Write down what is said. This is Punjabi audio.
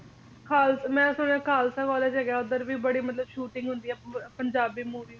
ਖਾਲ ਮੈਂ ਸੁਣਿਆ ਖਾਲਸਾ college ਹੈਗਾ ਉਧਰ ਵੀ ਬੜੀ ਮਤਲਬ shooting ਹੁੰਦੀ ਆ ਪੰਜਾਬੀ movies ਦੀ